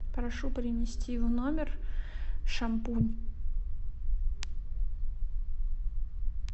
прошу принести в номер шампунь